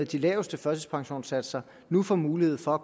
de laveste førtidspensionssatser nu får mulighed for at